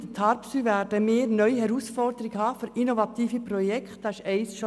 Mit TARPSY werden wir eine neue Herausforderung für innovative Projekte haben.